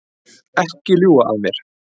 Ekki ljúga að mér.